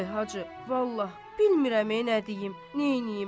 Ay Hacı, vallah, bilmirəm nə deyim, nəyəyim.